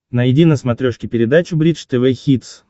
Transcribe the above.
найди на смотрешке передачу бридж тв хитс